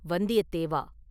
“வந்தியத்தேவா!